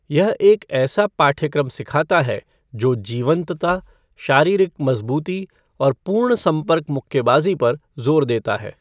यह एक ऐसा पाठ्यक्रम सिखाता है जो जीवंतता, शारीरिक मजबूती और पूर्ण संपर्क मुक्केबाजी पर जोर देता है।